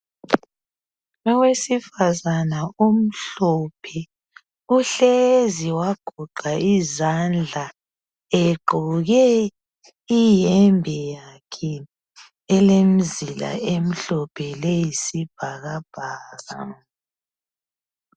Owesifazana omhlophe uhlezi wagoqa izandla egqoke impahla yakhe elemizila emhlophe leyisibhakabhaka